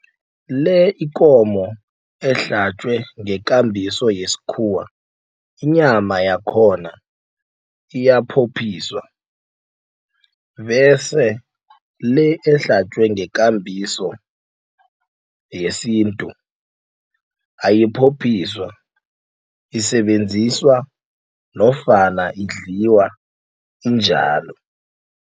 Le ikomo ehlatjwe ngekambiso yesikhuwa inyama yakhona iyaphophiswa bese le ehlatjwe ngekambiso yesintu ayiphophiswa isebenziswa nofana idliwa injalo.